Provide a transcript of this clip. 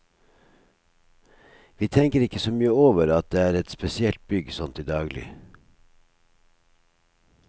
Vi tenker ikke så mye over at det er et spesielt bygg sånn til daglig.